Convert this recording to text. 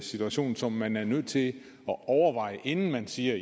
situation som man er nødt til at overveje inden man siger